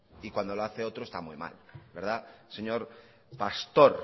y cuando lo hace otro está muy mal verdad señor pastor